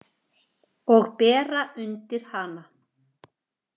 Og bera undir hana.